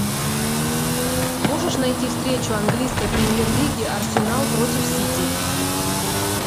можешь найти встречу английской премьер лиги арсенал против сити